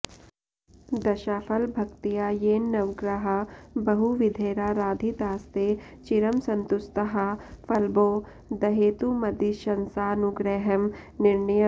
दशाफल भक्त्या येन नवग्रहा बहुविधैराराधितास्ते चिरं सन्तुष्ताः फलबोधहेतुमदिशन्सानुग्रहं निर्णयम्